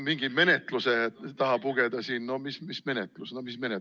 Mingi menetluse taha pugeda – no mis menetlus, mis menetlus?